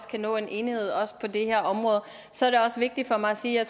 kan nå en enighed også på det her område så er det også vigtigt for mig at sige at